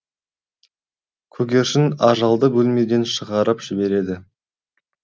көгершін ажалды бөлмеден шығарып жібереді